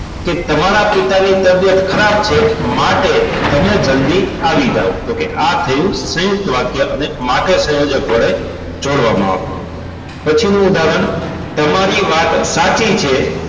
કે તમારા પિતાની તબિયત ખરાબ છે માટે તમે જલ્દી આવી જાવ તો કે આ થયું સયુંકત વાક્ય અને માટે સંયોજક વડે જોડવામાં આવ્યું પછી નું ઉદાહરણ તમારી વાત સાચી છે